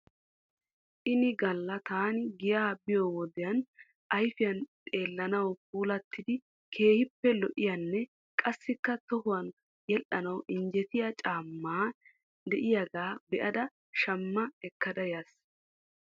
Ini galla taani giyaa biyoo wodiyan ayfiyan xeelanaw puulattidi keehippe lo'iyaanne qassikka tohuwan yedhdhanaw injjetiyaa caamay de'iyaaga be'ada shamma ekkada yaas.